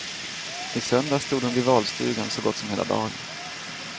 I söndags stod hon vid valstugan så gott som hela dagen.